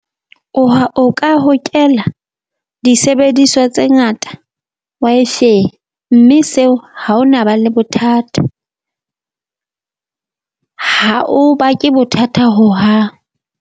O ha o ka hokela disebediswa tse ngata , mme seo ha o na ba le bothata ha o bake bothata hohang.